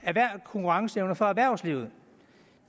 konkurrenceevne for erhvervslivet